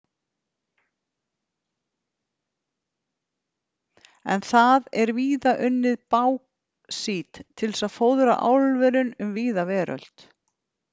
En það er víðar unnið báxít til að fóðra álverin um víða veröld.